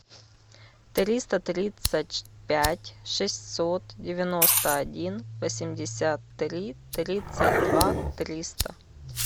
триста тридцать пять шестьсот девяносто один восемьдесят три тридцать два триста